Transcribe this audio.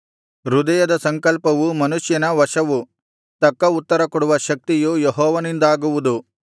ಹೃದಯದ ಸಂಕಲ್ಪವು ಮನುಷ್ಯನ ವಶವು ತಕ್ಕ ಉತ್ತರಕೊಡುವ ಶಕ್ತಿಯು ಯೆಹೋವನಿಂದಾಗುವುದು